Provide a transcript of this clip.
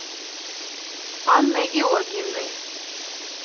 анной георгиевной